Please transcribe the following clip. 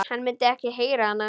Hann myndi ekki heyra hana.